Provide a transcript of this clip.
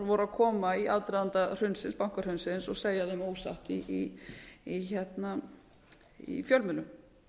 voru að koma í aðdraganda hrunsins bankahrunsins og segja þeim ósatt í fjölmiðlum